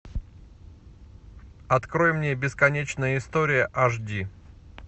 открой мне бесконечная история аш ди